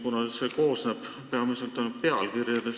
Kavand koosneb praegu ainult pealkirjadest.